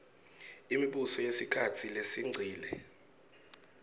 imibuso yesikhatsi lesengcile